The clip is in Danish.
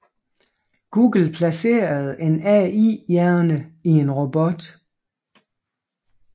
Google placerede en AI hjerne i en robot